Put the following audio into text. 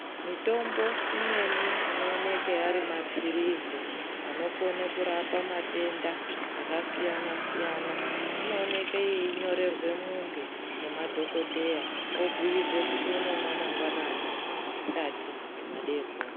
Mitombo imweni inooneke ari mapirizi anokone kurapa matenda aka siyana siyana inooneke yeinyorerwe mundu ngema dhokoteya obhuyirwe kuti anomwa mangwanani , masikati ne madeekoni